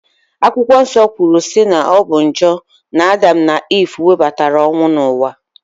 Akwụkwọ Nsọ kwuru si na ọ bụ njọ na Adam na Ive webatara ọnwụ n'ụwa